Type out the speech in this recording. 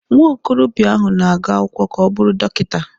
Nwa okorobịa ahụ na-agụ akwụkwọ ka ọ bụrụ Dọkịta.